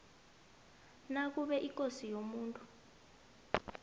nakube ikosi yomuntu